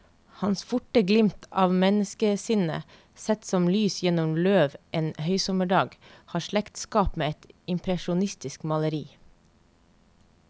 Hans forte glimt av menneskesinnet, sett som lys gjennom løv en høysommerdag, har slektskap med et impresjonistisk maleri.